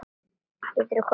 Geturðu komið annað kvöld?